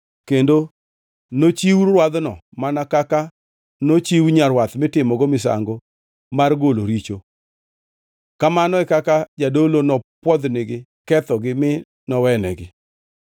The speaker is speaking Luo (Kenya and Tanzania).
kendo nochiw rwadhno mana kaka nochiwo rwath mitimogo misango mar golo richo. Kamano e kaka jadolo nopwodhnigi kethogi mi nowenegi.